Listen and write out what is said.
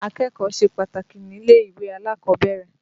Akẹ́kọ̀ọ́ ṣe pàtàkì nílé-ìwé alákọ̀ọ́bẹ̀rẹ̀.